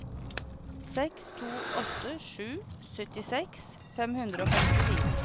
seks to åtte sju syttiseks fem hundre og femtifire